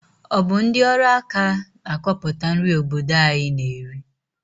Ọ bụ ndị ọrụaka na-akọpụta nri obodo anyị na-eri?